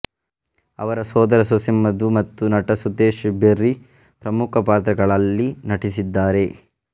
ಆವರ ಸೋದರ ಸೊಸೆ ಮಧು ಮತ್ತು ನಟ ಸುದೇಶ್ ಬೆರ್ರಿ ಪ್ರಮುಖ ಪಾತ್ರಗಳಲ್ಲಿ ನಟಿಸಿದ್ದಾರೆ